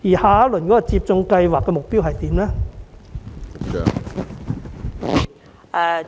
下一輪接種計劃目標為何？